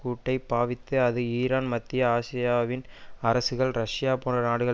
கூட்டை பாவித்து அது ஈரான் மத்திய ஆசியாவின் அரசுகள் ரஷ்யா போன்ற நாடுகள்